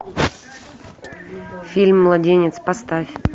фильм младенец поставь